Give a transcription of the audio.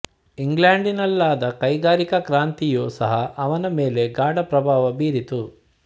ಇಂಗ್ಲೆಂಡಿನಲ್ಲಾದ ಕೈಗಾರಿಕಾ ಕ್ರಾಂತಿಯೂ ಸಹ ಅವನ ಮೇಲೆ ಗಾಢ ಪ್ರಭಾವ ಬೀರಿತು